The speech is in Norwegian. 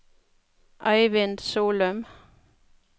Eivind Solum